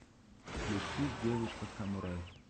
включи девушка самурай